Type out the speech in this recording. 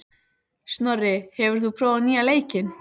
Snorri, hefur þú prófað nýja leikinn?